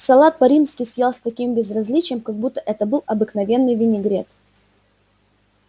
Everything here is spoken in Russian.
салат по-римски съел с таким безразличием как будто это был обыкновенный винегрет